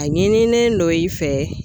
A ɲinilen don i fɛ.